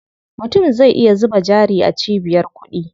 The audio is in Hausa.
Mutum zai iya zuba jari a cibiyar kuɗi.